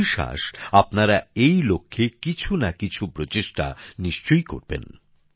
আমার বিশ্বাস আপনারা এই লক্ষ্যে কিছু না কিছু উদ্যোগ নিশ্চয়ই নেবেন